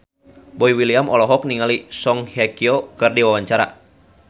Boy William olohok ningali Song Hye Kyo keur diwawancara